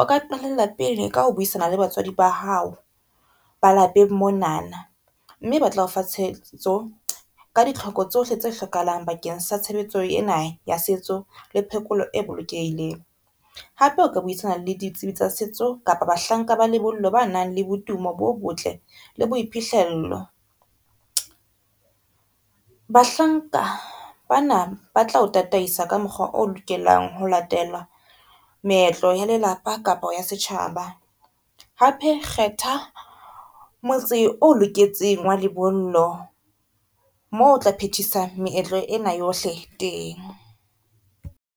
O ka qalella pele ka ho buisana le batswadi ba hao ba lapeng mona na, mme ba tla o fa tshehetso ka ditlhoko tsohle tse hlokahalang bakeng sa tshebetso ena ya setso le phekolo e bolokehileng. Hape o ka buisana le ditsebi tsa setso kapa bahlanka ba lebollo ba nang le botumo bo botle le boiphihlello. Bahlanka bana ba tla o tataisa ka mokgwa o lokelang ho latela meetlo ya lelapa kapa ya setjhaba, hape kgetha motse oo loketseng wa lebollo mo o tla phetisa meetlo ena yohle teng.